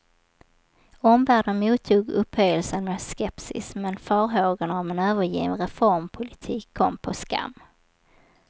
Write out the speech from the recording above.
Omvärlden mottog upphöjelsen med skepsis, men farhågorna om en övergiven reformpolitik kom på skam.